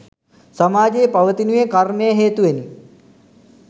සමාජයේ පවතිනුයේ කර්මය හේතුවෙනි.